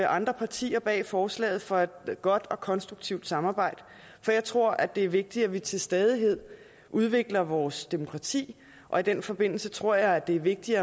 andre partier bag forslaget for et godt og konstruktivt samarbejde for jeg tror det er vigtigt at vi til stadighed udvikler vores demokrati og i den forbindelse tror jeg det er vigtigt